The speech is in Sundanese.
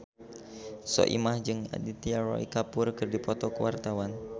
Soimah jeung Aditya Roy Kapoor keur dipoto ku wartawan